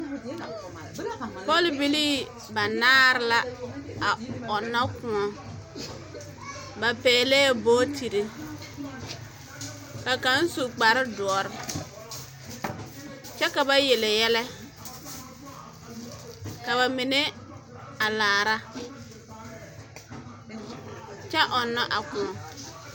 Bɔl bilii banaara la ɔnnɔ kóɔ ba pɛgelɛɛ bootiri ka kaŋ su kpar dɔre kyɛ ka ba yele yɛlɛ ka ba mine a laara kyɛ ɔnnɔ a kóɔ